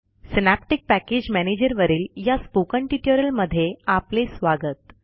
synaptic package मॅनेजरवरील या spoken ट्युटोरियलमधे आपले स्वागत